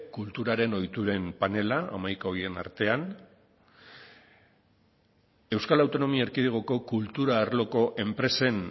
kulturaren ohituren panela hamaika horien artean euskal autonomia erkidegoko kultura arloko enpresen